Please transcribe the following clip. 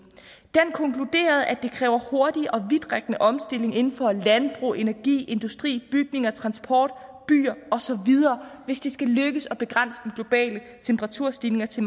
konkluderede at det kræver hurtig og vidtrækkende omstilling inden for landbrug energi industri bygninger transport byer osv hvis det skal lykkes at begrænse den globale temperaturstigning til